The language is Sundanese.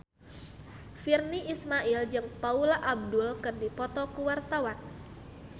Virnie Ismail jeung Paula Abdul keur dipoto ku wartawan